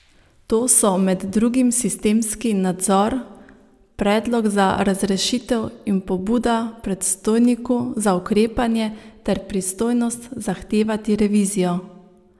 To so med drugim sistemski nadzor, predlog za razrešitev in pobuda predstojniku za ukrepanje ter pristojnost zahtevati revizijo.